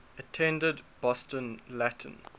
attended boston latin